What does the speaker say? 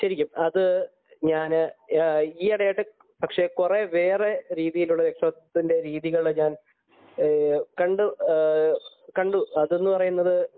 ശരിക്കും അത് ഞാൻ ഈയിടെയായിട്ട് കുറെ വേറെ രീതികളിലൂടെ രക്ഷാകർതൃത്വത്തിന്റെ രീതികൾ ഞാൻ കണ്ടു . അതെന്ന് പറയുന്നത്